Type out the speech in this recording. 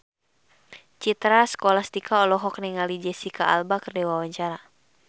Citra Scholastika olohok ningali Jesicca Alba keur diwawancara